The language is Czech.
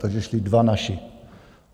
Takže šli dva naši.